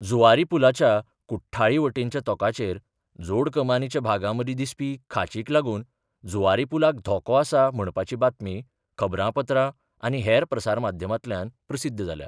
जुवारी पूलाच्या कुट्ठाळी वटेनच्या तोकाचेर जोड कमानीच्या भागामदी दिसपी खांचीक लागून जुवारी पूलाक धोको आसा म्हणपाची बातमी खबरापत्रां आनी हेर प्रसार माध्यमांतल्यान प्रसिध्द जाल्या.